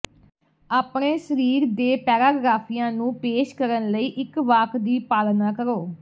ਆਪਣੇ ਸਰੀਰ ਦੇ ਪੈਰਾਗ੍ਰਾਫਿਆਂ ਨੂੰ ਪੇਸ਼ ਕਰਨ ਲਈ ਇੱਕ ਵਾਕ ਦੀ ਪਾਲਣਾ ਕਰੋ